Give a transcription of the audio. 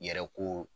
Yɛrɛ ko